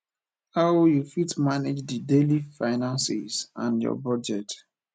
how you fit manage di daily finances and your budget